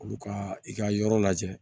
Olu ka i ka yɔrɔ lajɛ